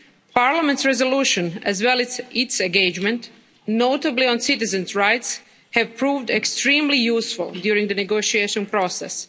Parliament's resolution as well as its engagement, notably on citizens' rights, have proved extremely useful during the negotiation process.